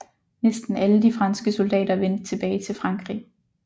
Næsten alle de franske soldater vendte tilbage til Frankrig